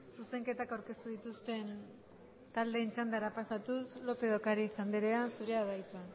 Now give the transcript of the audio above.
zuzenketak aurkeztu dituzten taldeen txandara pasatuz lópez de ocariz andrea zurea da hitza